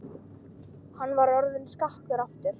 Hann var orðinn skakkur aftur.